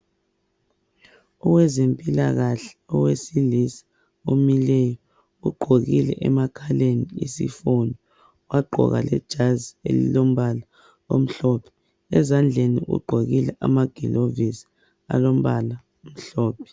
Owezempilakahle owesilisa omileyo ugqokile emakhaleni isifonyo wagqoka lejazi elilombala omhlophe .Ezandlenni ugqokile amagilovisi alombala omhlophe.